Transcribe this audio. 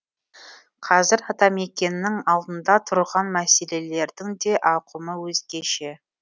қазір атамекеннің алдында тұрған мәселелердің де ауқымы өзгеше